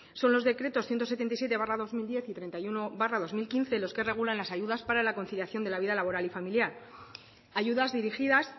son los decretos ciento setenta y siete barra dos mil diez y treinta y uno barra dos mil quince los que regulan las ayudas para la conciliación de la vida laboral y familiar ayudas dirigidas